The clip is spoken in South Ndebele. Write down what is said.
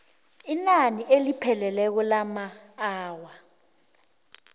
inani elipheleleko lamaawa